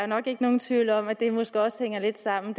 nok ikke nogen tvivl om at det måske også hænger lidt sammen